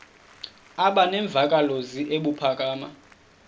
aba nemvakalozwi ebuphakama